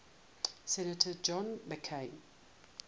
senator john mccain